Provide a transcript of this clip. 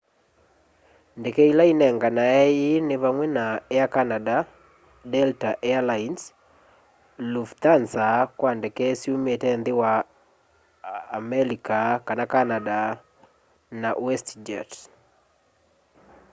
ndeke ila inenganae ii ni vamwe na air canada delta air lines lufthansa kwa ndeke syumite nthi ya amelika kana canada na westjet